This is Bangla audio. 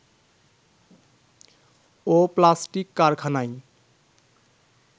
ও প্লাস্টিক কারখানায়